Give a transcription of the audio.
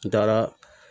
N taara